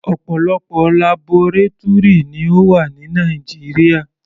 Ọ̀pọ̀lọpọ̀ labọrátúrì ni ó wà ní Nàìjíríà.